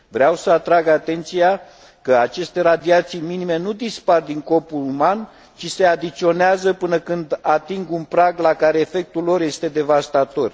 Vreau să atrag atenția că aceste radiații minime nu dispar din corpul uman, ci se adiționează până când ating un prag la care efectul lor este devastator.